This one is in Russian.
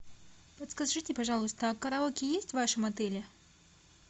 подскажите пожалуйста а караоке есть в вашем отеле